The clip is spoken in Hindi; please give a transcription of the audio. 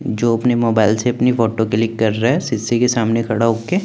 जो अपने मोबाइल से अपनी फोटो क्लिक कर रहा है सीसी के सामने खड़ा हो के।